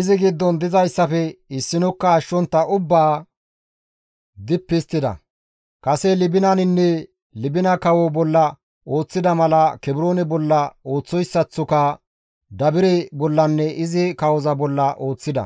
izi giddon dizayssafe issinokka ashshontta ubbaa dippi histtida; kase Libinaninne Libina kawo bolla ooththida mala, Kebroone bolla ooththoyssaththoka Dabire bollanne izi kawoza bolla ooththida.